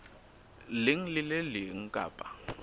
leng le le leng kapa